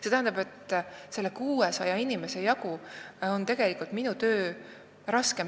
See tähendab, et 600 inimese jagu on minu töö tegelikult raskem.